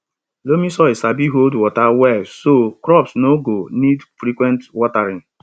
loamy soil sabi hold water well so crops no go need frequent watering